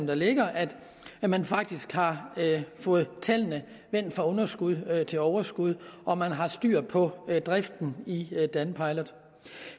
der ligger at man faktisk har fået tallene vendt fra underskud til overskud og at man har styr på driften i danpilot